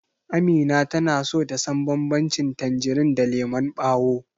Amina tana so ta san banbancin tanjirin da lemon ɓawo.